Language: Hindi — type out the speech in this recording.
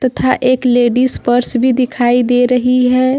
था एक लेडीज पर्स भी दिखाई दे रही है।